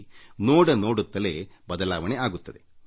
ಆಗ ನೀವೇ ಬದಲಾವಣೆಯನ್ನು ನೋಡುತ್ತೀರಿ